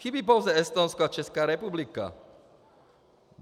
Chybí pouze Estonsko a Česká republika.